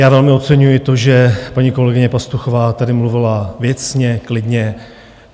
Já velmi oceňuji to, že paní kolegyně Pastuchová tady mluvila věcně, klidně.